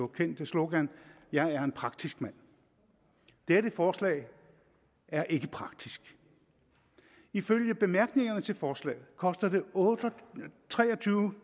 kendte slogan jeg er en praktisk mand dette forslag er ikke praktisk ifølge bemærkningerne til forslaget koster det tre og tyve